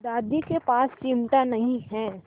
दादी के पास चिमटा नहीं है